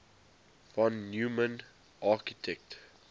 von neumann architecture